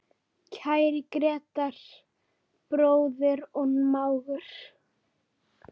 Kæri Grétar, bróðir og mágur.